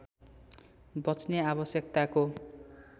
बच्ने आवश्यकताको